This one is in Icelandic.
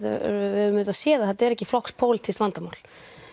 við höfum auðvitað séð að þetta er ekki flokks pólitískt vandamál